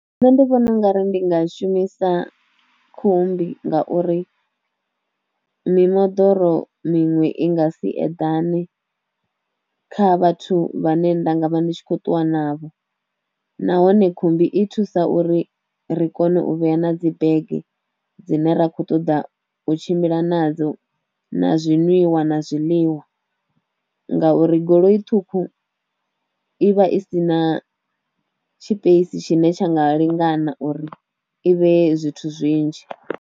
Nṋe ndi vhona u nga ri ndi nga shumisa khumbi ngauri mimoḓoro miṅwe i nga si eḓane kha vhathu vha ne nda nga vha ndi tshi kho ṱuwa navho, nahone khumbi i thusa uri ri kone u vhea na dzi bege dzine ra kho ṱoḓa u tshimbila nadzo na zwiṅwiwa na zwiḽiwa ngauri goloi ṱhukhu i vha i si na tshipeisi tshine tsha nga lingana uri i vhee zwithu zwinzhi.